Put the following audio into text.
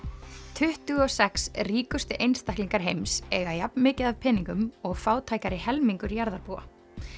tuttugu og sex ríkustu einstaklingar heims eiga jafn mikið af peningum og fátækari helmingur jarðarbúa